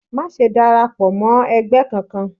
Maṣe dárápọ mọ ẹgbẹ kánkan!